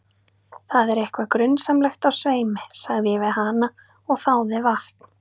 Það er eitthvað grunsamlegt á sveimi, sagði ég við hana og þáði vatn.